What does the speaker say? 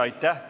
Aitäh!